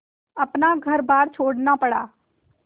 अपना घरबार छोड़ना पड़ा